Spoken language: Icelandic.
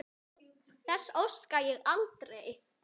Þess óska ég aldrei.